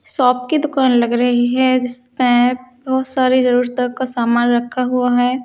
Shop की दूकान लग रही है केप बोहोत साड़ी जरूरतों का सामान रखा हुआ है।